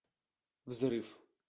взрыв